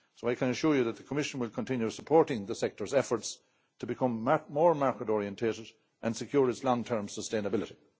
I can assure you that the Commission will continue supporting the sector's efforts to become more market orientated and secure its long term sustainability.